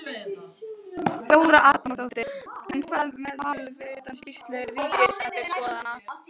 Þóra Arnórsdóttir: En hvað með málið fyrir utan skýrslu ríkisendurskoðunar?